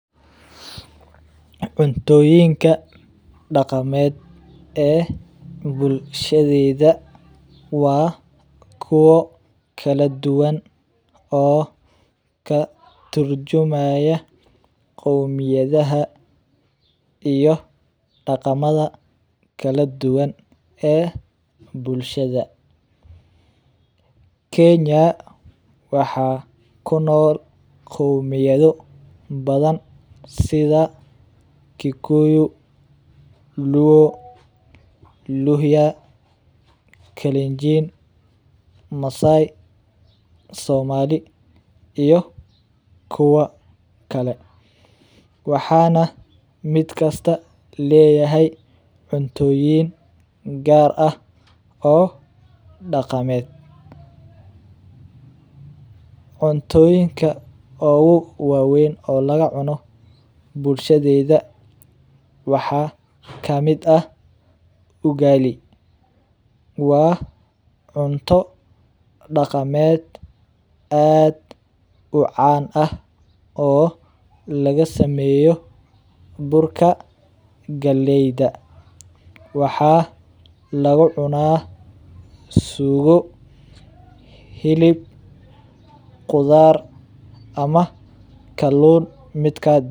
Cuntoyink dagamed ee bulshadeydha wa kuwa kaladuwan oo katurjumaya qowmiyadaha iyo daqamada kaladuwan ee bulshada, kenya waxa kunool qowmiyada badan sidha kikuyu , luo, luhya , kalinjin , massai , somali iyo kuwa kale, waxana midkasta leyahay cuntoyin u gaar ah oo dagamed, cuntoyinka oguwawen oo lagacuno bulshadeda waxa kamid ah ugali, wa cunto dagamed oo aad u caan ah oo lagasameyo burka qaleyda, waxa lagucuna suoo hilib qudar ama kalun midkad donto.